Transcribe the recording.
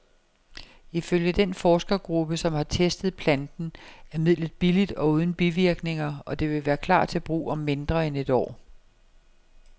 Ifølge den forskergruppe, som har testet planten, er midlet billigt og uden bivirkninger, og det vil klar til brug om mindre end et år.